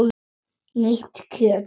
Nýtt kjöt!